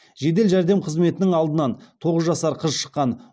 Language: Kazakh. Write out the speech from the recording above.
жедел жәрдем қызметінің алдынан тоғыз жасар қыз шыққан